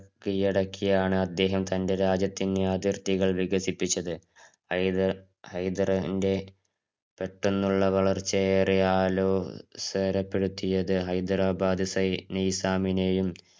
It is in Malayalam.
കീഴടക്കിയാണ് അദ്ദേഹം തന്‍റെ രാജ്യത്തിന്‍റെ അതിര്‍ത്തികള്‍ വികസിപ്പിച്ചത്. ഹൈദര് ഹൈദറിന്‍റെ പെട്ടന്നുള്ള വളര്‍ച്ചയേറെ ആലോസരപ്പെടുത്തിയത് ഹൈദരാബാദ്‌ സൈനി നിസാമിനെയും,